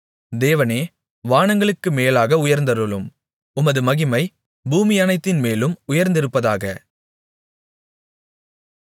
தேவனே வானங்களுக்கு மேலாக உயர்ந்தருளும் உமது மகிமை பூமியனைத்தின்மேலும் உயர்ந்திருப்பதாக